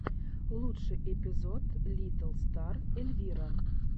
лучший эпизод литтл стар эльвира